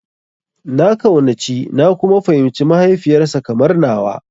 Na kaunaci na kuma fahimci mahaifiyar sa kamar nawa.